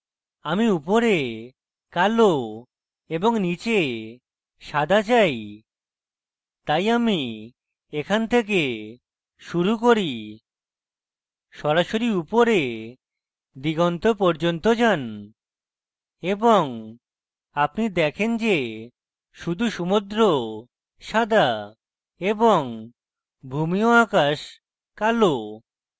আমি উপরে কালো এবং নীচে সাদা চাই তাই আমি এখান থেকে শুরু করি সরাসরি উপরে দিগন্ত পর্যন্ত যান এবং আপনি দেখেন যে শুধু সমুদ্র সাদা এবং ভূমি ও আকাশ কালো